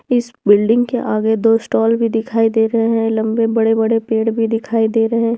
इस बिल्डिंग के आगे दो स्टॉल भी दिखाई दे रहे हैं लंबे बड़े-बड़े पेड़ भी दिखाई दे रहे --